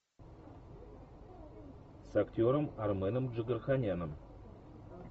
с актером арменом джигарханяном